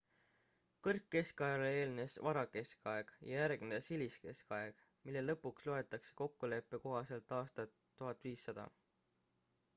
kõrgkeskajale eelnes varakeskaeg ja järgnes hiliskeskaeg mille lõpuks loetakse kokkuleppe kohaselt aastat 1500